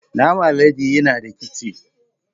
Naman alade yana da kitse